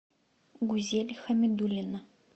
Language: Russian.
гузель хамидуллина